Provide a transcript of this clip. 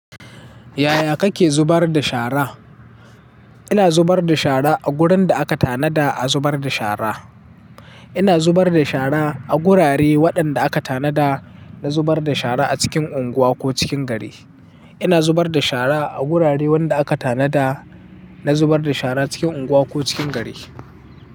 Yaya kake zubar da shara? Ina zubar da shara a wurin da aka tanada a zubar da shara. Ina zubar da shara a gurare waɗanda aka tanada na zubar da shara a cikin unguwa ko cikin gari. Ina zubar da shara a gurare wanda aka tanada na zubar da shara cikin unguwa ko cikin gari.